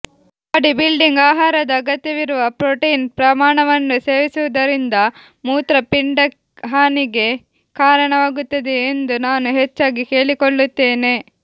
bodybuilding ಆಹಾರದ ಅಗತ್ಯವಿರುವ protein ಪ್ರಮಾಣವನ್ನು ಸೇವಿಸುವುದರಿಂದ ಮೂತ್ರಪಿಂಡ ಹಾನಿಗೆ ಕಾರಣವಾಗುತ್ತದೆಯೇ ಎಂದು ನಾನು ಹೆಚ್ಚಾಗಿ ಕೇಳಿಕೊಳ್ಳುತ್ತೇನೆ